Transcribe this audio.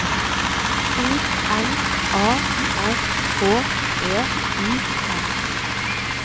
O N A R H E I M